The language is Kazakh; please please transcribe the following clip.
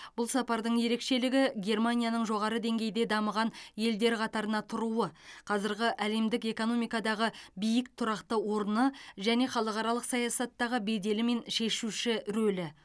бұл сапардың ерекшелігі германияның жоғары деңгейде дамыған елдер қатарында тұруы қазіргі әлемдік экономикадағы биік тұрақты орны және халықаралық саясаттағы беделі мен шешуші рөлі